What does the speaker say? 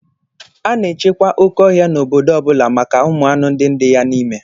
A na-echekwa okéọhịa n'obodo ọ bụla maka ụmụanụ ndị dị ya n'ime